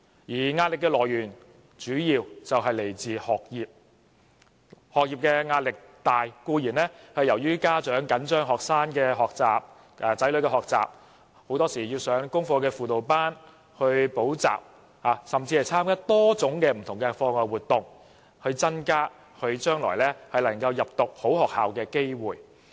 學生的壓力主要來自學業；學業壓力大，固然是由於家長緊張子女的學習，很多時要他們上功課輔導班或補習，甚至參加多種不同課外活動，以增加他們將來入讀好學校的機會。